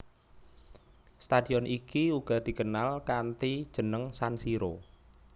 Stadion iki uga dikenal kanthi jeneng San Siro